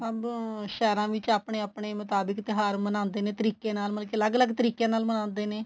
ਸਭ ਸਹਿਰਾ ਵਿੱਚ ਆਪਣੇ ਆਪਣੇ ਮੁਤਾਬਿਕ ਤਿਉਹਾਰ ਮਨਾਉਂਦੇ ਨੇ ਤਰੀਕੇ ਨਾਲ ਮਤਲਬ ਕੀ ਅਲੱਗ ਅਲੱਗ ਤਰੀਕੇ ਨਾਲ ਮਨਾਉਂਦੇ ਨੇ